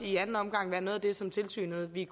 i anden omgang være noget af det som tilsynet ville